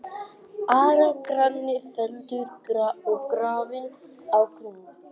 Ara-Gráni var felldur og grafinn á Grund.